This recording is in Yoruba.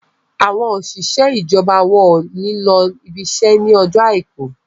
àwọn òṣìṣẹ́ ijọba wón ní ló ibise ní Ọjọ́ aìkú